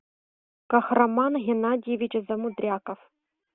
кахраман геннадьевич замудряков